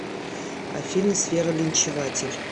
афина сфера линчеватель